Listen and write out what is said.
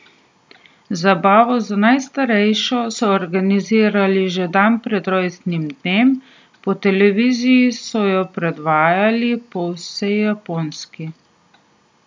Zabavo za najstarejšo so organizirali že dan pred rojstnim dnem, po televiziji so jo predvajali po vsej Japonski.